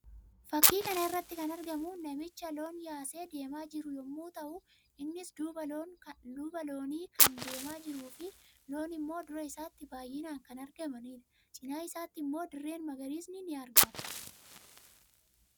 Fakkii kana irratti kan argamu namicha loon yaasee deemaa jiru yammuu ta'u; innis duuba loonii kan deemaa jiruu fi loon immoo dura isaatti baayyinaan kan argamanii dha. Cina isaatti immoo dirreen magariisni ni argama.